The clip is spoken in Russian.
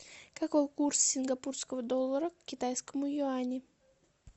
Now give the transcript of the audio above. какой курс сингапурского доллара к китайскому юаню